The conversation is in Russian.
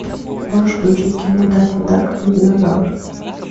можешь включить кино даффи дак и динозавр